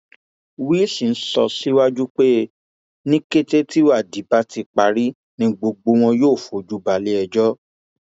wilson sọ síwájú pé ní kété tíwádìí bá ti parí ni gbogbo wọn yóò fojú balẹẹjọ